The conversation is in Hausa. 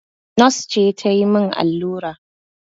Nos ce ta yi min allura